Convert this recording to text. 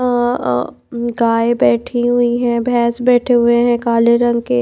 अ अ गाय बैठी हुई हैं भैंस बैठे हुए हैं काले रंग के--